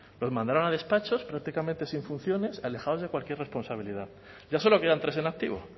los mandaron a despachos prácticamente sin funciones alejados de cualquier responsabilidad ya solo quedan tres en activo